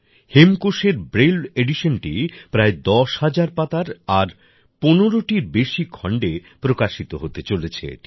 হেমকোষের Braille এডিশনটি প্রায় ১০ হাজার পাতার আর ১৫ টিরও বেশি খন্ডে প্রকাশিত হতে চলেছে এটি